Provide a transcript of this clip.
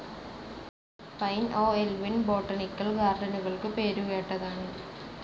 Pine ഓഹ്‌ Elvin botanical ഗാർഡനുകൾക്ക് പേരുകേട്ടതാണ്.